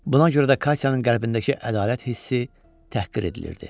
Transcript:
Buna görə də Katyanın qəlbindəki ədalət hissi təhqir edilirdi.